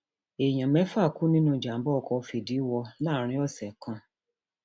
èèyàn mẹfà kú nínú ìjàmbá ọkọ ní fìdíwọ láàrin ọsẹ kan